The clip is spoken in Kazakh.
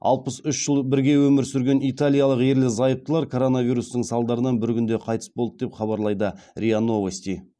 алпыс үш жыл бірге өмір сүрген италиялық ерлі зайыптылар коронавирустың салдарынан бір күнде қайтыс болды деп хабарлайды риа новости